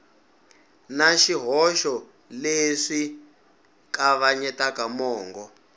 na swihoxo leswi kavanyetaka mongo